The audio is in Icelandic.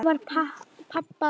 Hvað var Papa að hugsa?